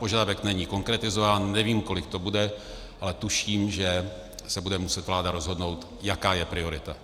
Požadavek není konkretizován, nevím, kolik to bude, ale tuším, že se bude muset vláda rozhodnout, jaká je priorita.